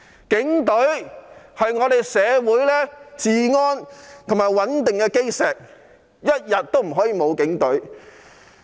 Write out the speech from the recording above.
警隊是社會治安和穩定的基石，不可以一天沒有警隊。